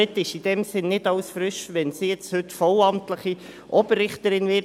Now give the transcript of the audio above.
Es ist in diesem Sinn nicht alles frisch, wenn sie jetzt heute vollamtliche Oberrichterin wird.